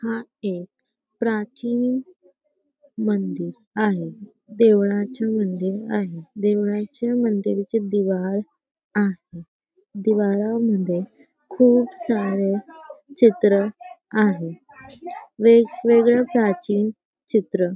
हा एक प्राचीन मंदिर आहे देवळाचे मंदिर आहे देवळाचे मंदिर चे दिवाळ आहे दिवाळा मध्ये खूप सारे चित्र आहे वेगवेगळ प्राचीन चित्र--